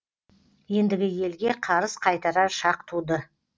ендігі елге қарыз қайтарар шақ туды